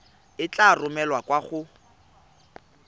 e tla romelwa kwa go